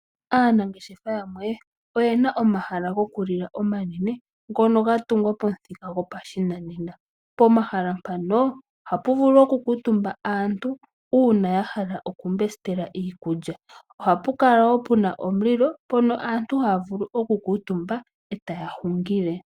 Aanangeshefa yamwe oye na omahala gokulila omanene, noga tungwa pamuthika gwopa shi nanena. Pomahala mpano ohapu vulu oku kuutumba aantu uuna ya hala okumbestela iikulya. Ohapu kala wo pu na omulilo mpono aantu haya vulu oku kuutumba, etaya hungile.